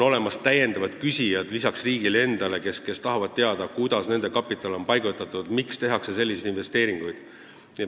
Peale riigi on olemas muudki küsijad, kes tahavad teada, kuidas nende kapital on paigutatud, miks tehakse selliseid investeeringuid.